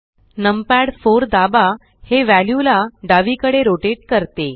numpad 4 दाबा हे view ला डावीकडे रोटेट करत